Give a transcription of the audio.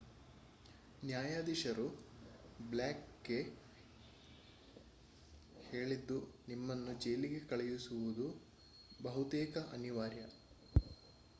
ನ್ಯಾಯಾಧೀಶರು ಬ್ಲೇಕ್‌ಗೆ ಹೇಳಿದ್ದು ನಿಮ್ಮನ್ನು ಜೈಲಿಗೆ ಕಳುಹಿಸುವುದು ಬಹುತೇಕ ಅನಿವಾರ್ಯ